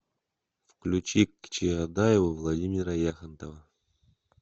включи к чаадаеву владимира яхонтова